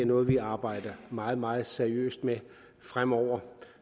noget vi arbejder meget meget seriøst med fremover